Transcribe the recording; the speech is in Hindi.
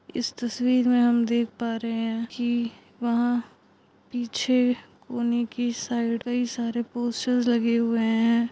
इस तस्वीर में हम देख पा रहे हैं की वहाँ पीछे कोने के साइड कई सारे पोस्टर्स लगे हुए हैं।